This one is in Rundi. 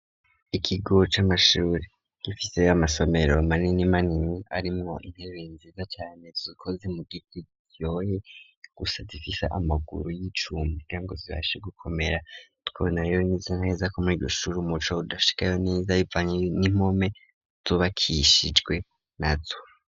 Ikigo c'amashuri gifise amasomero amanini manini ,arimwo intebe nziza cane, zikoze mu giti ,rero gusa zifis' amaguru y'icuma, kugirango zibashe gukomera, tukabona rero neza neza ko muri irishuri umuco udashikayo neza, bivanye n'impome zubakishijwe nazo.